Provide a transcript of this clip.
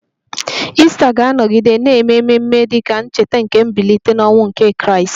Ista ga-anọgide na-eme ememe dị ka ncheta nke mbilite n'ọnwụ nke Kraịst